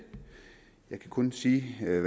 jeg kan kun sige hvad